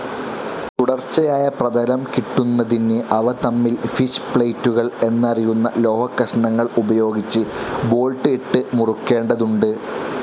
തുടർച്ചയായ പ്രതലം കിട്ടുന്നതിന് അവ തമ്മിൽ ഫിഷ്‌ പ്ളേറ്റുകൾ എന്നറിയുന്ന ലോഹക്കഷണങ്ങൾ ഉപയോഗിച്ച് ബോൾട്ട്‌ ഇട്ടു മുറുക്കേണ്ടതുണ്ട്.